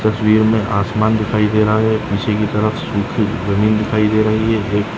इस तस्वीर मे आसमान दिखाई दे रहा है नीचे की तरफ़ सुकी जमीन दिखाई दे रही है एक।